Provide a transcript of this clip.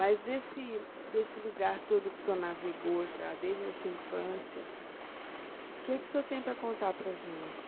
Mas desse, desse lugar todo que o senhor navegou já, desde a sua infância, que que o senhor tem para contar para a gente?